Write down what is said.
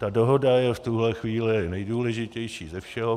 Ta dohoda je v tuhle chvíli nejdůležitější ze všeho.